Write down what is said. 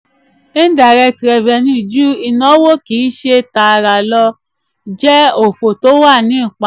indirect revenue ju ìnáwó kìí ṣe tààrà lọ jẹ́ òfò tó wà ní ìpamọ́.